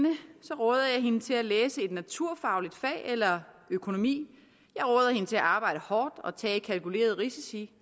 er hende til at læse et naturfagligt fag eller økonomi jeg råder hende til at arbejde hårdt og tage kalkulerede risici